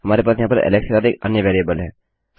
हमारे पास यहाँ पर एलेक्स के साथ एक अन्य वेरिएबल है